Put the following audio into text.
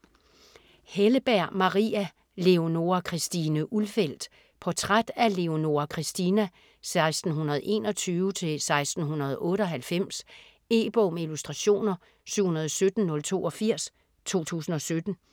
Helleberg, Maria: Leonora Christine Ulfeldt Portræt af Leonora Christina (1621-1698). E-bog med illustrationer 717082 2017.